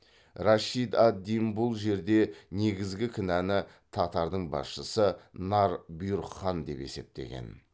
рашид ад дин бұл жерде негізгі кінәны татардың басшысы нар бұйрық хан деп есептеген